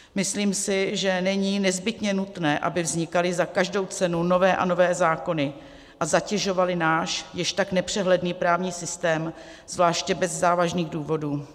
Myslím si, že není nezbytně nutné, aby vznikaly za každou cenu nové a nové zákony a zatěžovaly náš již tak nepřehledný právní systém, zvláště bez závažných důvodů.